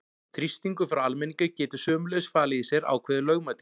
Þrýstingur frá almenningi getur sömuleiðis falið í sér ákveðið lögmæti.